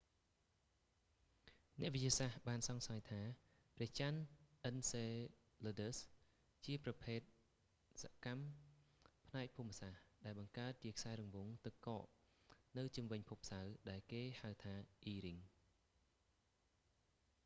អ្នកវិទ្យាសាស្ត្របានសង្ស័យថា ព្រះចន្ទអិនសេលើឌើស enceladus អាចជាប្រភពសកម្មផ្នែកភូមិសាស្ត្រ ដែលបង្កើតជាខ្សែរង្វង់ទឹកកកនៅជុំវិញភពសៅរ៍ ដែលគេហៅថា e ring